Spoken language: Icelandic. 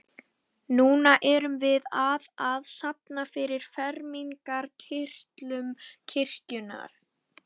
Núna erum við að að safna fyrir fermingarkyrtlum í kirkjuna.